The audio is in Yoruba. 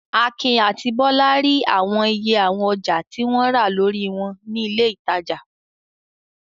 Akin àti Bọ́lá rí àwọn iye àwọn ọjà tí wọ́n rà lórí wọn ní ilé-ìtajà.